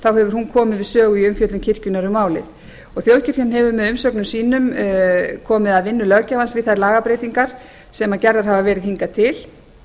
sjö hefur hún komið við sögu í umfjöllun kirkjunnar um málið þjóðkirkjan hefur með umsögnum sínum komið að vinnu löggjafans við þær lagabreytingar sem gerðar hafa verið hingað til